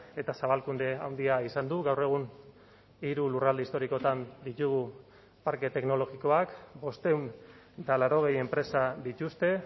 eta zabalkunde handia izan du gaur egun hiru lurralde historikoetan ditugu parke teknologikoak bostehun eta laurogei enpresa dituzte